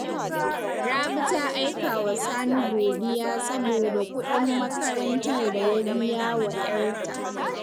Rabi ta aika wa Sani godiya saboda kuɗin makarantar da ya bi yawa ‘yarta